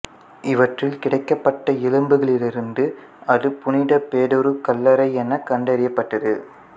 இவற்றில் கிடைக்கப்பட்ட எலும்புகளிலிருந்து அது புனித பேதுரு கல்லறை எனக் கண்டறியப்பட்டது